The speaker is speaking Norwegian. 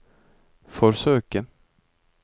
forsøke